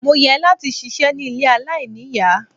Mo yẹ láti ṣiṣẹ́ ní ilé aláìníìyá.